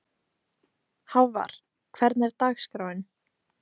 Hávar, hvernig er dagskráin?